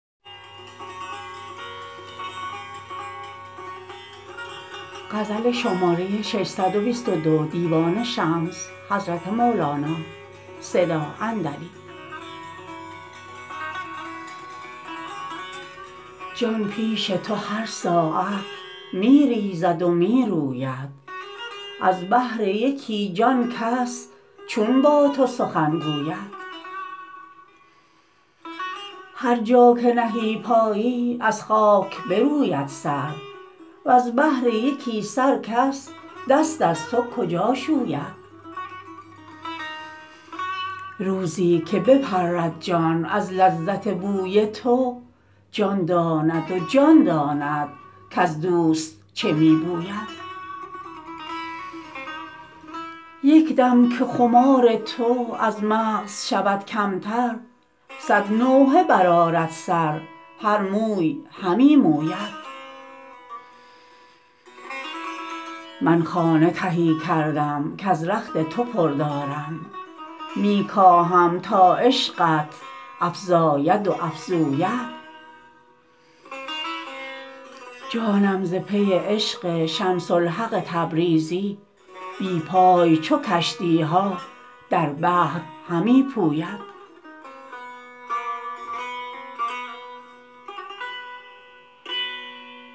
جان پیش تو هر ساعت می ریزد و می روید از بهر یکی جان کس چون با تو سخن گوید هر جا که نهی پایی از خاک بروید سر وز بهر یکی سر کس دست از تو کجا شوید روزی که بپرد جان از لذت بوی تو جان داند و جان داند کز دوست چه می بوید یک دم که خمار تو از مغز شود کمتر صد نوحه برآرد سر هر موی همی موید من خانه تهی کردم کز رخت تو پر دارم می کاهم تا عشقت افزاید و افزوید جانم ز پی عشق شمس الحق تبریزی بی پای چو کشتی ها در بحر همی پوید